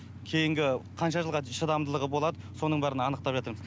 кейінгі қанша жылға шыдамдылығы болады соның бәрін анықтапватырмыз